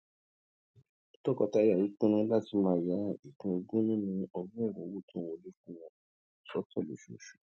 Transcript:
tọkọtaya yìí pinnu láti máa ya ìpín ogún nínú ọgórùnún owó tó ń wọlé fún wọn sótò lóṣooṣù